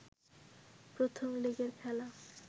প্রথম লেগের খেলা